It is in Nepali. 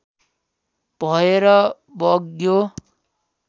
भएर बग्यो